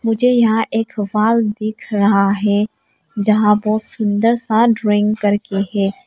मुझे यहां एक वॉल दिख रहा है जहां बहोत सुंदर सा ड्राइंग कर के है।